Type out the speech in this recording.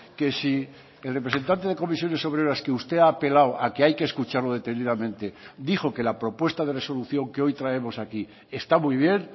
que si el representante de comisiones obreras que usted ha apelado a que hay que escucharlo detenidamente dijo que la propuesta de resolución que hoy traemos aquí está muy bien